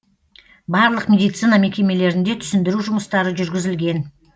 барлық медицина мекемелерінде түсіндіру жұмыстары жүргізілген